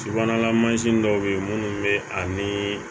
Subahana mansin dɔw bɛ yen minnu bɛ ani